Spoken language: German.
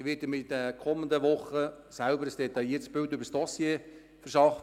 Ich werde mir selber kommende Woche ein detailliertes Bild über das Dossier machen.